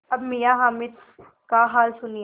अब मियाँ हामिद का हाल सुनिए